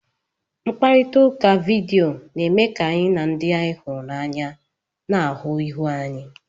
Mkparịta ụka vidiyo na-eme ka anyị na ndị anyị hụrụ n'anya na-ahụ ihu anyi.